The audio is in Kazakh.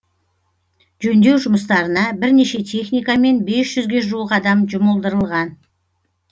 жөндеу жұмыстарына бірнеше техника мен бес жүзге жуық адам жұмылдырылған